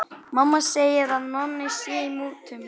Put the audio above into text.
Mamma segir að Nonni sé í mútum.